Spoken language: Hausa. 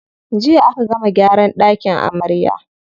Jiya aka gama gyaran ɗakin amarya.